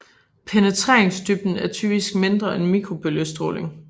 Penetreringsdybden er typisk mindre end mikrobølge stråling